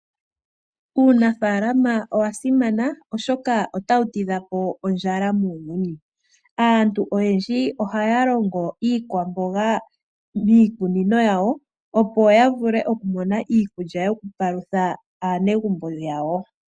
Uunafaalama owasimana oshoka otawu tidhapo ondjala muuyuni. Aantu oyendji ohaya longo iikwamboga miikunino yawo, opo yavule okumona iikulya yokupalutha aanegumbo yawo .